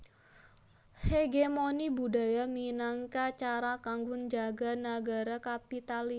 Hegemoni budaya minangka cara kanggo njaga nagara kapitalis